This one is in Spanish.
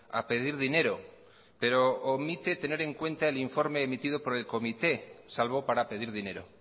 a pedir dinero pero omite tener en cuenta el informe emitido por el comité salvo para pedir dinero